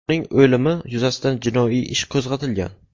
Uning o‘limi yuzasidan jinoiy ish qo‘zg‘atilgan.